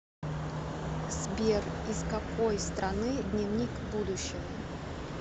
сбер из какой страны дневник будущего